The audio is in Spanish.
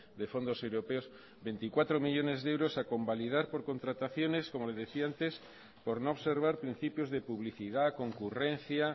de fondos europeos veinticuatro millónes de euros a convalidar por contrataciones como le decía antes por no observar principios de publicidad concurrencia